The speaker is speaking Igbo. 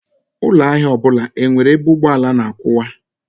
Ụlọ ahịa ọbụla enwere ebe ụgbọala na-akwụwa?